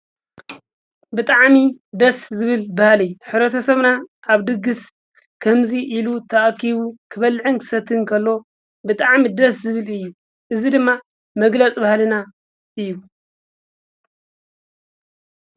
ብጥዓሚ ደስ ዝብል ባሃልይ ኅረተ ሰምና ኣብ ድግሥ ከምዙ ኢሉ ተኣኪቡ ክበልዕንክሰት እንተሎ ብጥዓሚ ደስ ዝብል እዩ እዙይ ድማ መግለጽ ባሃልና እዩ።